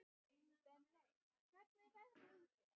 Benney, hvernig er veðrið úti?